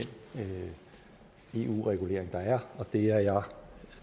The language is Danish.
eu regulering der er og det er jeg